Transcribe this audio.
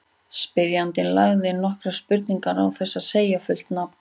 Spyrjandi lagði inn nokkrar spurningar án þess að segja fullt nafn.